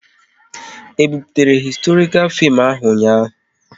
E buputere historikal fim ahu ụnyaahụ?